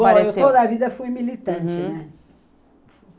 Bom, eu toda a vida fui militante, né? Uhum.